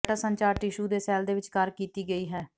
data ਸੰਚਾਰ tissue ਦੇ cell ਦੇ ਵਿਚਕਾਰ ਕੀਤੀ ਗਈ ਹੈ